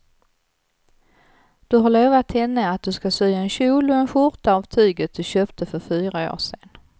Du har lovat henne att du ska sy en kjol och skjorta av tyget du köpte för fyra år sedan.